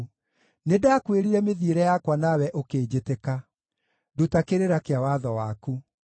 Nĩndakwĩrire mĩthiĩre yakwa nawe ũkĩnjĩtĩka; nduta kĩrĩra kĩa watho waku.